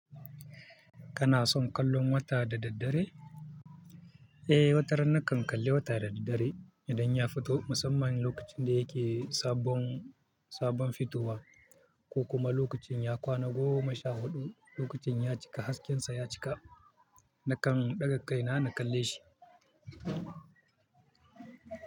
Kana son kallon wata da daddare? Watarana kan kalle wata da daddare idan ya fito. Musamman lokacin da yake sabon, sabon fitowa ko kuma lokacin ya kwana goma sha huɗu, lokacin ya cika hasken sa ya cika, nakan ɗaga kai na kalle shi.